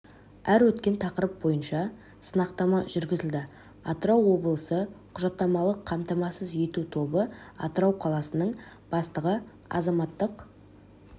әр өткен тақырып бойынша сынақтама жүргізілді атырау облысы құжаттамалық қамтамасыз ету тобы атырау қаласының бастығы азаматтық